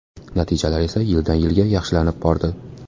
Natijalar esa yildan-yilga yaxshilanib bordi.